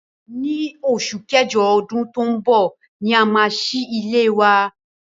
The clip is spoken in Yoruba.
Ní osù kẹ́jọ odún to n bò ni a máa sílé wa